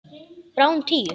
Bráðum tíu.